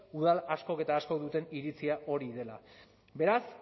udal askok eta askok duten iritzia hori dela beraz